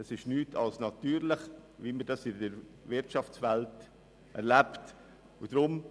Dies ist nichts als natürlich, wie es auch in der Wirtschaft erlebt wird.